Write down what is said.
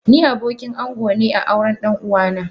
Ni abokin ango a aurn ɗan uwa na.